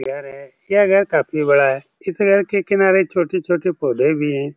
घर है यह घर काफी बड़ा है यह घर के किनारे छोटे-छोटे पौधे भी हैं